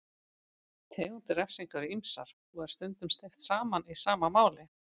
Tegundir refsinga eru ýmsar og er stundum steypt saman í sama máli.